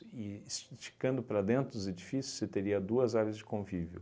E es esticando para dentro dos edifícios, você teria duas áreas de convívio.